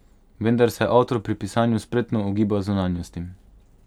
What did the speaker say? Vendar se avtor pri pisanju spretno ogiba zunanjostim.